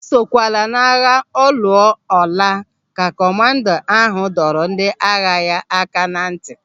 "Esokwala n'agha ọ lụọ ọ laa," ka kọmanda ahụ dọrọ ndị agha ya aka ná ntị.